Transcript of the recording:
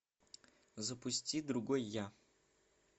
запусти другой я